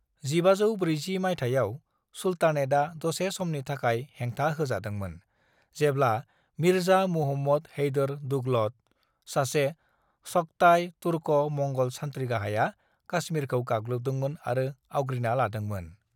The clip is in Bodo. "1540 माइथायाव, सुल्तानेतआ दसे समनि थाखाय हेंथा होजादोंमोन जेब्ला मिर्जा मुहम्मद हैदर दुगलत, सासे चगताई तुर्क'-मंग'ल सान्थ्रि गाहाया काश्मीरखौ गाग्लोबदोंमोन आरो आवग्रिना लादोंमोन।"